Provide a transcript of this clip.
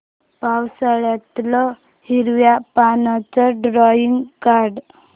पावसाळ्यातलं हिरव्या पानाचं ड्रॉइंग काढ